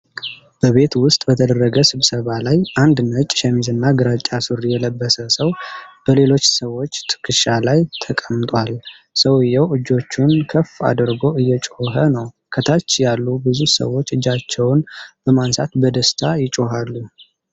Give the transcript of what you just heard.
በቤት ውስጥ በተደረገ ስብሰባ ላይ አንድ ነጭ ሸሚዝና ግራጫ ሱሪ የለበሰ ሰው በሌሎች ሰዎች ትከሻ ላይ ተቀምጧል። ሰውዬው እጆቹን ከፍ አድርጎ እየጮኸ ነው፣ ከታች ያሉት ብዙ ሰዎች እጃቸውን በማንሳት በደስታ ይጮኻሉ።